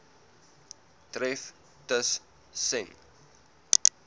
tref tus sen